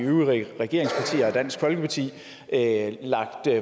øvrige regeringspartier og dansk folkeparti lagt